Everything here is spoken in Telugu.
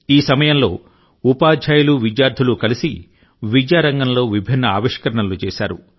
ఈ సమయంలో ఉపాధ్యాయులు విద్యార్థులు కలిసి విద్యారంగంలో విభిన్న ఆవిష్కరణలు చేశారు